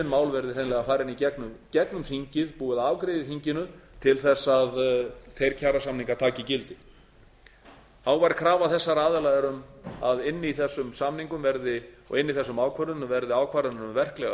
mál verði hreinlega farin í gegnum þingið búið að afgreiða í þinginu til að þeir kjarasamningar taki gildi hávær krafa þessara aðila var að inni í þessum samningum og inni í þessum ákvörðunum verði ákvarðanir um verklegar